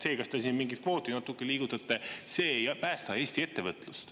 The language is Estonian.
See, kas te siin mingit kvooti natuke liigutate, ei päästa Eesti ettevõtlust.